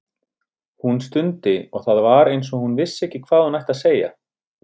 Hún stundi og það var eins og hún vissi ekki hvað hún ætti að segja.